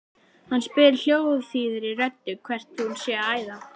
Hann spyr hljómþýðri röddu hvert hún sé að æða.